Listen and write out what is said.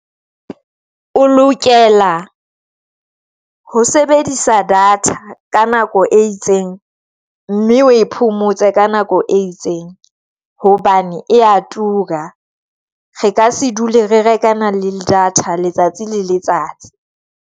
O lokela ho sebedisa data ka nako e itseng mme o e phomotse ka nako e itseng hobane ya tura. Re ka se dule re reka na le data letsatsi le letsatsi.